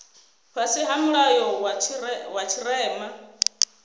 fhasi ha mulayo wa tshirema